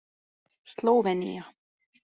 Slóvenía